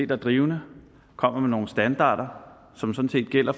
drivende og kommer med nogle standarder som sådan set gælder